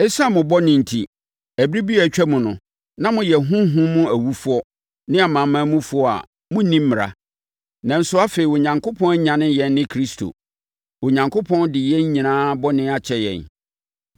Esiane mo bɔne enti, ɛberɛ bi a atwam no, na moyɛ honhom mu awufoɔ ne amanamanmufoɔ a monni Mmara. Nanso, afei Onyankopɔn anyane yɛn ne Kristo. Onyankopɔn de yɛn nyinaa bɔne akyɛ yɛn.